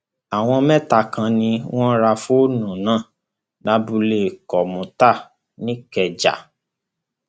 àwọn mẹta kan ni wọn ra fóònù náà lábúlé kọmùtà nìkẹjà